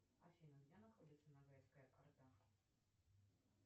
афина где находится ногайская орда